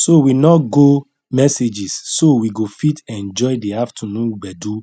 so we nor go messages so we go fit enjoy the afternoon gbedu